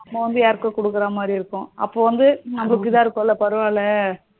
நம்ம வந்து யாருக்கோ குடுக்குற மாதிரி இருக்கும். அப்போ வந்து நமக்கு இதுவா இருக்கும்ல பரவல்ல